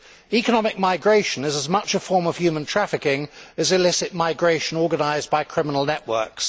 Economic migration is as much a form of human trafficking as illicit migration organised by criminal networks.